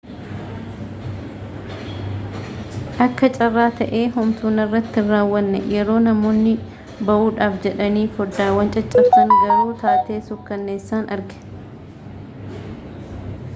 akka carraa ta'ee homtuu narratti hin raawwanne yeroo namoonni ba'uudhaaf jedhanii foddaawwan caccabsan garuu taatee suukkanneessaan arge